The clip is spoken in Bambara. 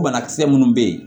Banakisɛ minnu bɛ yen